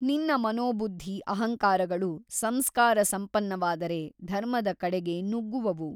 ನಿನ್ನ ಮನೋಬುದ್ಧಿ ಅಹಂಕಾರಗಳು ಸಂಸ್ಕಾರ ಸಂಪನ್ನವಾದರೆ ಧರ್ಮದ ಕಡೆಗೆ ನುಗ್ಗುವವು.